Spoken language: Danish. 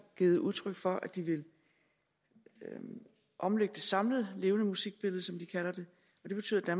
givet udtryk for at de vil omlægge det samlede levende musikbillede som de kalder det og det betyder at